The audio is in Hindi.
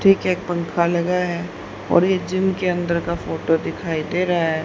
ठीक है एक पंखा लगा है और ये जिम के अंदर का फोटो दिखाई दे रहा हैं।